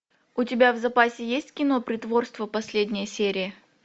у тебя в запасе есть кино притворство последняя серия